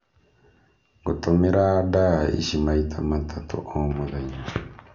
Ngũtũmĩra ndaa ici maita matatũ o mũthenya.